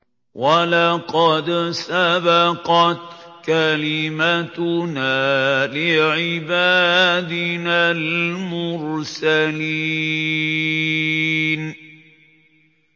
وَلَقَدْ سَبَقَتْ كَلِمَتُنَا لِعِبَادِنَا الْمُرْسَلِينَ